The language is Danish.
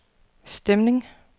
stemning